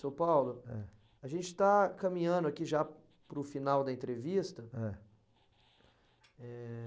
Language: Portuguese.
Seu Paulo, ãh, a gente está caminhando aqui já para o final da entrevista. Ãh? Eh...